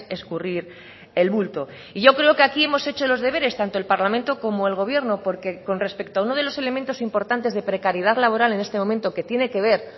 escurrir el bulto y yo creo que aquí hemos hecho los deberes tanto el parlamento como el gobierno porque con respecto a uno de los elementos importantes de precariedad laboral en este momento que tiene que ver